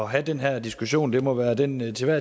have den her diskussion det må være den til